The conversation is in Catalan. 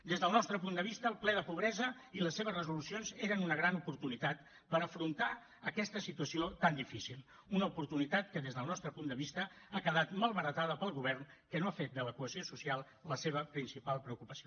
des del nostre punt de vista el ple de pobresa i les seves resolucions eren una gran oportunitat per afrontar aquesta situació tan difícil una oportunitat que des del nostre punt de vista ha quedat malbaratada pel govern que no ha fet de la cohesió social la seva principal preocupació